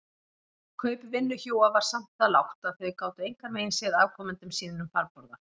Kaup vinnuhjúa var samt það lágt að þau gátu engan veginn séð afkomendum sínum farborða.